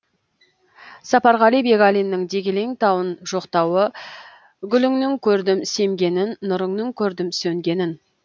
сапарғали бегалиннің дегелең тауын жоқтауы гүліңнің көрдім семгенін нұрыңның көрдім сөнгенін